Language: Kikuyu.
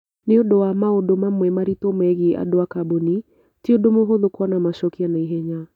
Nĩ ũndũ wa maũndũ mamwe maritũ megiĩ andũ a kambuni, ti ũndũ mũhũthũ kuona macokio na ihenya.